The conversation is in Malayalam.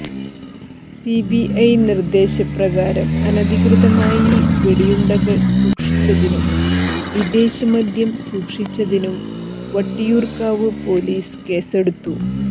സിബിഐ നിർദ്ദേശപ്രകാരം അനധികൃതമായി വെടിയുണ്ടകൾ സൂക്ഷിച്ചതിനും വിദേശമദ്യം സൂക്ഷിച്ചതിനും വട്ടിയൂർക്കാവ് പൊലീസ് കേസെടുത്തു